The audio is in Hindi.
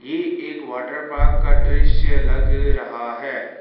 ये एक वाटर पार्क का दृश्य लग रहा है।